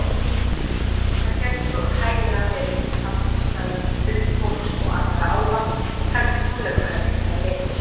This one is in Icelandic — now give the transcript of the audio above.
Þar gæti svo hæglega verið samkomustaður huldufólks og annarra álfa, kannski tónleikahöll eða leikhús.